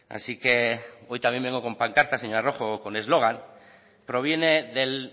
así que hoy también vengo con pancarta señora rojo o con eslogan proviene del